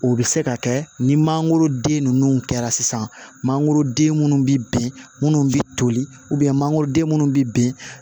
O bɛ se ka kɛ ni mangoroden ninnu kɛra sisan mangoroden minnu bɛ bin minnu bɛ toli mangoroden minnu bɛ bin